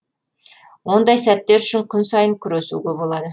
ондай сәттер үшін күн сайын күресуге болады